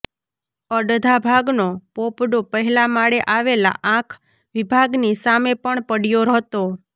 અડધા ભાગનો પોપડો પહેલા માળે આવેલા આંખ વિભાગની સામે પણ પડયો હતો